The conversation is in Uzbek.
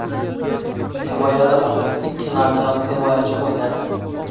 Himoyada faqat ikki nominal himoyachi o‘ynadi.